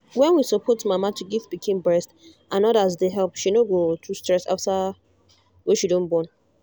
when we support mama to give pikin breast and others dey help she no go too stress after wey she don born